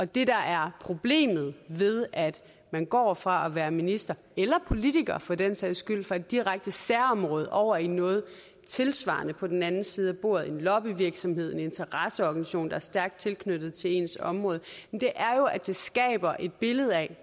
det der er problemet ved at man går fra at være minister eller politiker for den sags skyld fra et direkte særområde over i noget tilsvarende på den anden side af bordet en lobbyvirksomhed en interesseorganisation der er stærkt tilknyttet til ens område er jo at det skaber et billede af